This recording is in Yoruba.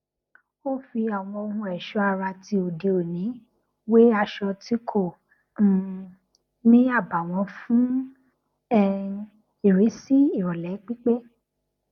ó fi àwọn ohun ẹṣọ ara ti òde òní wé aṣọ tí kò um ní àbààwón fún um ìrísí ìròlé pípé